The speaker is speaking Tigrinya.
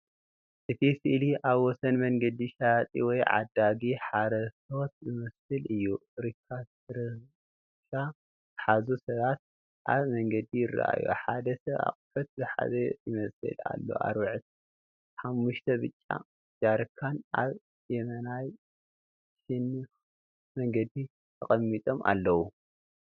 እቲ ስእሊ ኣብ ወሰን መንገዲ ሸያጢ ወይ ዕዳጋ ሓረስቶት ዝመስል እዩ። ሪክሻ ዝሓዙ ሰባት ኣብ መንገዲ ይረኣዩ፤ ሓደ ሰብ ኣቑሑት ዝሓዘ ይመስል ኣሎ። ኣርባዕተ ሓሙሽተ ብጫ ጃሪካን ኣብ የማናይ ሸነኽ መንገዲ ተቐሚጦም ኣለዉ።